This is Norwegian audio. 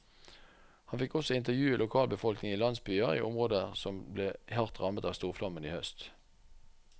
Han fikk også intervjue lokalbefolkningen i landsbyer i områder som ble hardt rammet av storflommen i høst.